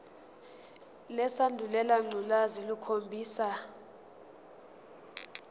lesandulela ngculazi lukhombisa